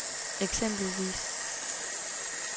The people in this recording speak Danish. eksempelvis